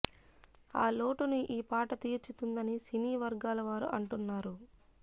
ఆ లోటును ఈ పాట తీర్చుతుందని సినీ వర్గాల వారు అంటున్నారు